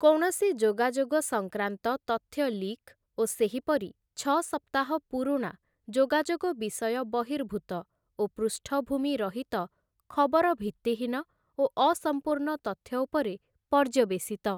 କୌଣସି ଯୋଗାଯୋଗ ସଂକ୍ରାନ୍ତ ତଥ୍ୟଲିକ୍ ଓ ସେହିପରି ଛଅ ସପ୍ତାହ ପୁରୁଣା ଯୋଗାଯୋଗ ବିଷୟ ବର୍ହିଭୂତ ଓ ପୁଷ୍ଟଭୂମି ରହିତ ଖବର ଭିତ୍ତିହୀନ ଓ ଅସମ୍ପୂର୍ଣ୍ଣ ତଥ୍ୟ ଉପରେ ପର୍ଯ୍ୟବସିତ ।